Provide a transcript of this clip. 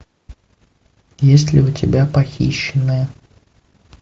есть ли у тебя похищенная